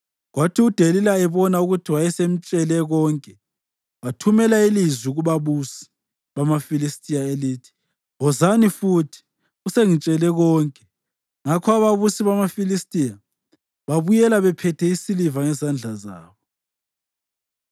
Kwathi uDelila ebona ukuthi wayesemtshele konke, wathumela ilizwi kubabusi bamaFilistiya elithi, “Wozani futhi; usengitshele konke.” Ngakho ababusi bamaFilistiya babuyela bephethe isiliva ngezandla zabo.